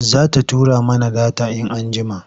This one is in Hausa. Za ta tura mana data in anjjima,